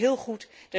Dat is heel goed.